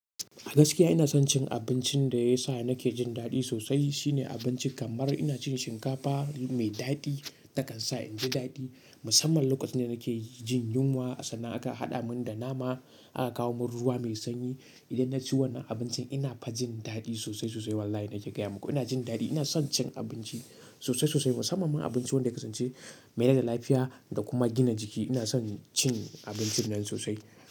A gaskiya ina son cin abincin da ya sa nake jin daɗi sosai. Shine abincin kamar ina cin shinkafa mai daɗi takan sa in ji daɗi. Musamman lokacin da nake jin yunwa sanan aka haɗa mun da nama aka kawo mun ruwa me sanyi. Idan na ci wannan abincin ina fa jin daɗi sosai sosai wallahi nake gaya maku ina jin daɗi. Ina son cin abinci sosai sosai musamman ma abinci wanda ya ke ce me rai lafiya da kuma gina jiki. Ina son cin abincin nan sosai.